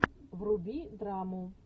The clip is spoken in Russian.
вруби драму